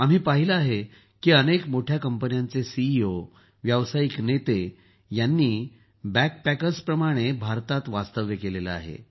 आम्ही पाहिलं आहे की अनेक मोठ्या कंपन्यांचे सीईओ व्यावसायिक नेते यांनी बॅगपॅकर्सप्रमाणे भारतात वास्तव्य केलं आहे